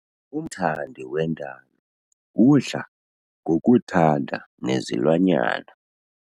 Umthandi wendalo udla ngokuthanda nezilwanyana.